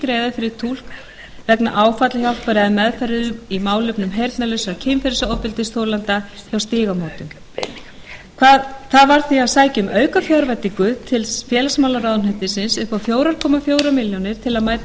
greiða fyrir túlk vegna áfallahjálpar eða meðferðar í málefnum heyrnarlausra kynferðisofbeldisþolenda hjá stígamótum það varð því að sækja um aukafjárveitingu til félagsmálaráðuneytisins upp á krónu fjóra komma fjórum milljónum til